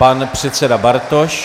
Pan předseda Bartoš.